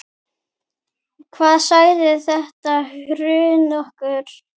Hvað sagði þetta hrun okkur?